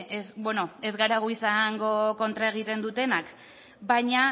ez bueno ez gara gu izango kontra egiten dutenak baina